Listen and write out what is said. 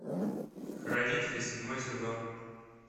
хранители седьмой сезон